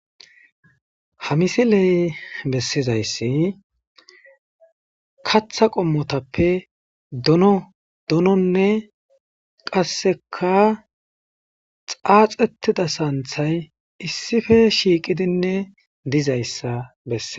Ha misiley bessizayssi katha qommotappe dono dononne qasseka xaaxetida saanthay issife shiiqidinne dizayssa besseza.